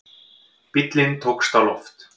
Bíllinn tókst á loft